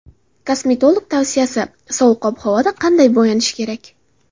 Kosmetolog tavsiyasi: Sovuq ob-havoda qanday bo‘yanish kerak?.